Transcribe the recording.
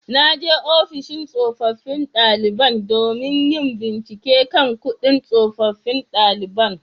Na je ofishin tsofaffin daliban domin yin bincike kan kudin tsofaffin daliban